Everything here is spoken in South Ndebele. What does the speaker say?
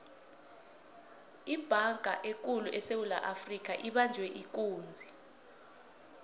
ibhanga ekulu esewula afrika ibanjwe ikunzi